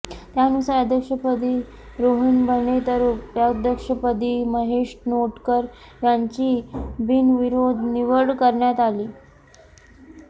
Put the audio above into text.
त्यानुसार अध्यक्षपदी रोहन बने तर उपाध्यक्षपदी महेश नाटेकर यांची बिनविरोध निवड करण्यात आली